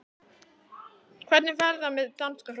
Hvernig fer það með danska hrokann?